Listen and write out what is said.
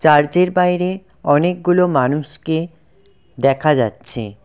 চার্চের বাইরে অনেকগুলো মানুষকে দেখা যাচ্ছে।